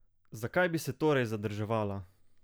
Zakaj bi se torej zadrževala?